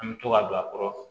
An bɛ to ka don a kɔrɔ